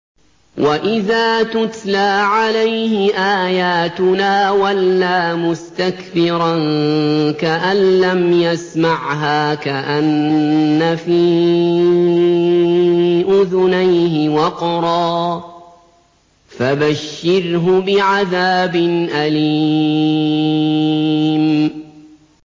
وَإِذَا تُتْلَىٰ عَلَيْهِ آيَاتُنَا وَلَّىٰ مُسْتَكْبِرًا كَأَن لَّمْ يَسْمَعْهَا كَأَنَّ فِي أُذُنَيْهِ وَقْرًا ۖ فَبَشِّرْهُ بِعَذَابٍ أَلِيمٍ